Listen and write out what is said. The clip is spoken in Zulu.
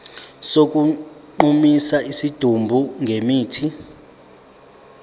sokugqumisa isidumbu ngemithi